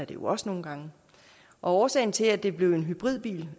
jo også nogle gange årsagen til at det blev en hybridbil